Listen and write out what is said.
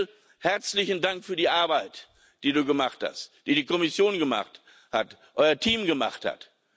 Michel, herzlichen Dank für die Arbeit, die du gemacht hast, die die Kommission gemacht hat, euer Team gemacht hat.